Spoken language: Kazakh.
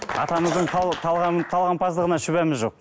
атамыздың талғампаздығына шүбәміз жоқ